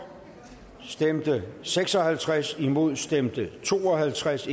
stemte seks og halvtreds imod stemte to og halvtreds